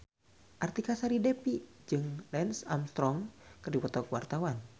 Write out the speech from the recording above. Artika Sari Devi jeung Lance Armstrong keur dipoto ku wartawan